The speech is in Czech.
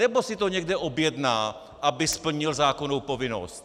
Nebo si to někde objedná, aby splnil zákonnou povinnost?